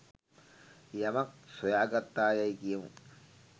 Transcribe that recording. යමක් සොයා ගත්තා යැයි කියමු.